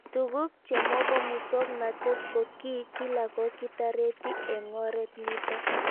Tug'uk chemopo muswognatet ko kii kila ko kitareti eng'oret nitok